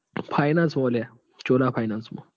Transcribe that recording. આઅ finance માં? લ્યા Chola finance માં.